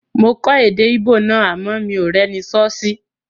Mo kọ́ èdè Íbò náà àmọ́ mi ò rẹ́ni sọ́ sí